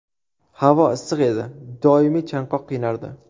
Havo issiq edi , doimiy chanqoq qiynardi .